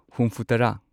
ꯍꯨꯨꯝꯐꯨꯇꯔꯥ